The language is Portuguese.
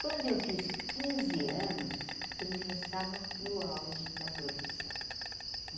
Quando eu fiz quinze anos, ele já estava no auge da profissão.